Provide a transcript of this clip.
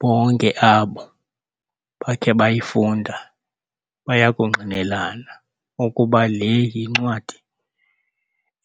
Bonke abo bakhe bayifunda bayakungqinelana ukuba le yincwadi